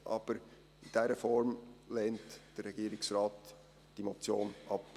Aber in dieser Form lehnt der Regierungsrat diese Motion ab.